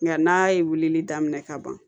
Nka n'a ye wulili daminɛ ka ban